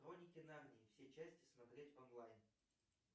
хроники нарнии все части смотреть онлайн